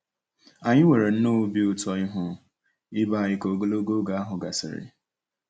Anyị nwere nnọọ obi ụtọ ịhụ ibe anyị ka ogologo oge ahụ gasịrị.